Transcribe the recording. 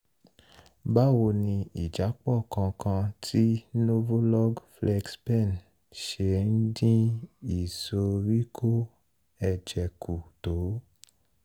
báwo ni ìjápọ̀ kan kan ti novolog flexpen ṣe ń dín ìsoríkọ́ ẹ̀jẹ̀ kù tó?